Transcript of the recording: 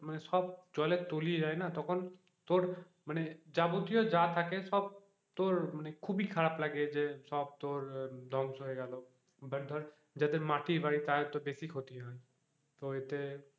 মানে সব জলে তলিয়ে যায় না তখন তোর মানে যাবতীয় যা থাকে সব তোর মানে খুব ই খারাপ লাগে যে সব তোর ধ্বংস হয়ে গেল but ধর যাদের মাটির বাড়ি তাদের তো বেশি ক্ষতি হয় তো এতে,